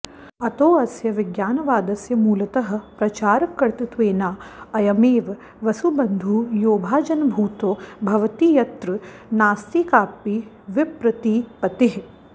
अतोऽस्य विज्ञानवादस्य मूलतः प्रचारकर्तृत्वेनाऽयमेव वसुबन्धुः योभाजनभूतो भवतीत्यत्र नास्ति कापि विप्रतिपत्तिः